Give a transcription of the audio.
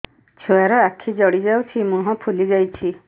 ଛୁଆର ଆଖି ଜଡ଼ି ଯାଉଛି ମୁହଁ ଫୁଲି ଯାଇଛି